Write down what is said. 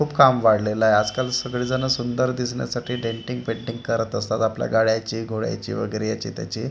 खूप काम वाढलेलं आहे आजकाल सगळी जण सुंदर दिसण्यासाठी डेंटिंग पेंटिंग करत असतात आपल्या गाड्यांची घोड्याची वगैरे याची त्याची.